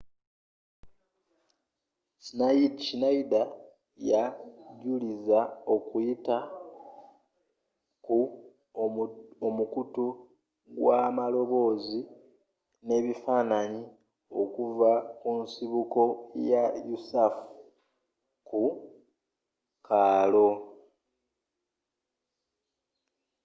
schneider yajulira okuyita ku omukutu gw'amaloboozi ne bifaananyi okuva ku nsibuko ya usaf ku kaalo